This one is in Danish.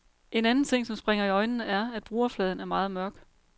En anden ting, som springer i øjnene, er, at brugerfladen er meget mørk.